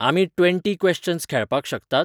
आमी twenty questions खेळपाक शकतात?